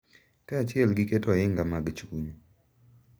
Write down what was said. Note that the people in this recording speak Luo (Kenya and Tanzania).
Kaachiel gi keto ohinga mag chuny, .